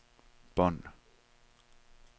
bånd